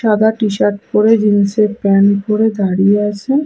সাদা টি শার্ট পরে জিন্স প্যান্ট পরে দাঁড়িয়ে আছে.।